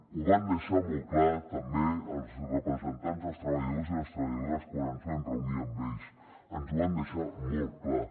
ho van deixar molt clar també els representants dels treballadors i les treballadores quan ens vam reunir amb ells ens ho van deixar molt clar